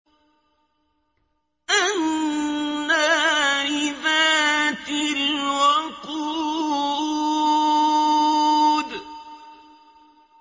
النَّارِ ذَاتِ الْوَقُودِ